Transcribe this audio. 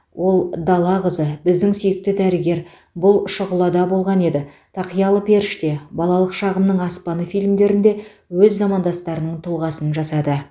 ол дала қызы біздің сүйікті дәрігер бұл шұғылада болған еді тақиялы періште балалық шағымның аспаны фильмдерінде өз замандастарының тұлғасын жасады